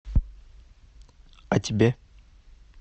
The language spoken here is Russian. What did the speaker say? а тебе